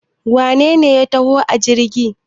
wanene ya taho a jirgi?